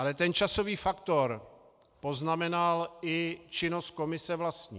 Ale ten časový faktor poznamenal i činnost komise vlastní.